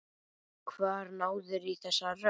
Hvar náðirðu í þessa rödd?